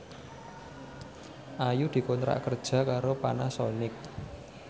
Ayu dikontrak kerja karo Panasonic